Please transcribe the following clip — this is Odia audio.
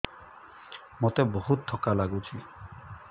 ମୋତେ ବହୁତ୍ ଥକା ଲାଗୁଛି